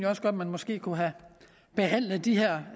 også godt at man måske kunne have behandlet de her